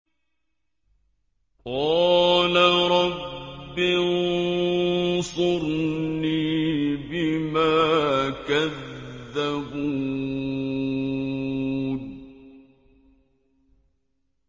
قَالَ رَبِّ انصُرْنِي بِمَا كَذَّبُونِ